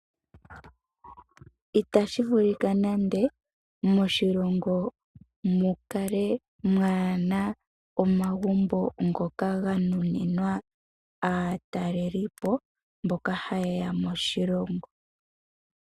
Itashi vulika nande moshilongo mu kale kamuna omagumbo ngoka ga nuninwa aatalelipo mboka hayeya moshilongo.